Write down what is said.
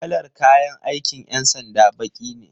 Kalar kayan aikin 'yan sanda baki ne